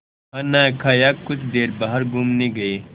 खाना खाया कुछ देर बाहर घूमने गए